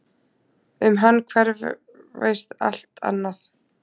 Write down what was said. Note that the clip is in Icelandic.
Um hann hverfist allt annað.